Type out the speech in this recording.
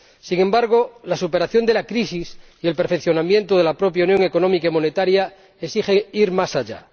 Sin embargo, la superación de la crisis y el perfeccionamiento de la propia Unión Económica y Monetaria exigen ir más allá.